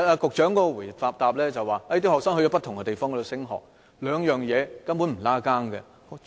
局長的答覆指學生到不同的地方升學，兩者根本沒有關係。